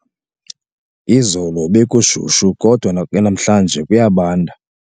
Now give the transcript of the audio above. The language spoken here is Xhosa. Izolo bekushushu kodwa namhlanje kuyabanda.